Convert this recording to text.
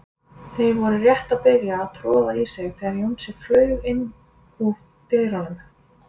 Þeir voru rétt að byrja að troða í sig þegar Jónsi flaug inn úr dyrunum.